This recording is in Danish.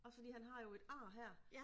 Også fordi han har jo et ar her